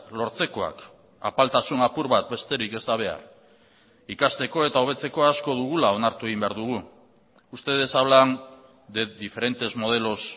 lortzekoak apaltasun apur bat besterik ez da behar ikasteko eta hobetzeko asko dugula onartu egin behar dugu ustedes hablan de diferentes modelos